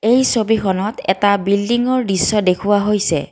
এই ছবিখনত এটা বিল্ডিং ৰ দৃশ্য দেখুওৱা হৈছে।